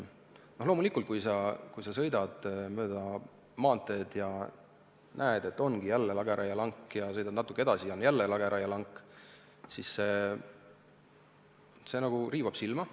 Loomulikult, kui sa sõidad mööda maanteed ja näed lageraielanki ja sõidad natuke edasi ja seal on jälle lageraielank, siis see riivab silma.